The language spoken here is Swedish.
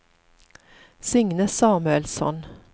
Signe Samuelsson